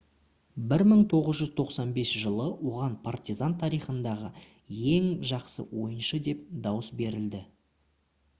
1995 жылы оған partizan тарихындағы ең жақсы ойыншы деп дауыс берілді